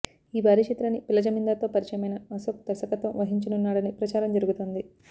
ఈ భారీ చిత్రాన్ని పిల్ల జమీందార్ తో పరిచయమైన అశోక్ దర్శకత్వం వహించనున్నాడని ప్రచారం జరుగుతోంది